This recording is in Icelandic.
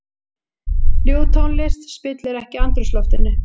Ljúf tónlist spillir ekki andrúmsloftinu.